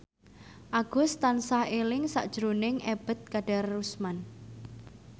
Agus tansah eling sakjroning Ebet Kadarusman